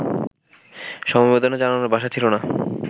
সমবেদনা জানানোর ভাষা ছিল না